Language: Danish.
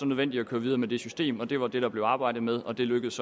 nødvendigt at køre videre med det system og det var det der blev arbejdet med og det lykkedes